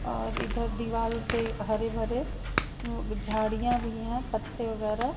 और इधर दीवाल पे हरे भरे झाड़ियां भी हैं पत्ते वगैरह।